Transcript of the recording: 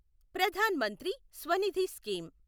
Pradhan Mantri Svanidhi scheme